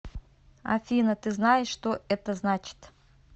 афина ты знаешь что это значит